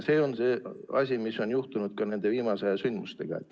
See on see asi, mis on juhtunud ka nende viimase aja sündmustega.